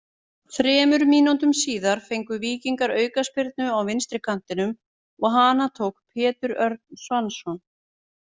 Þremur mínútum síðar fengu Víkingar aukaspyrnu á vinstri kantinum og hana tók Pétur Örn Svansson.